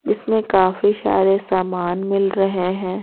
जिसमें काफी सारे सामान मिल रहे हैं।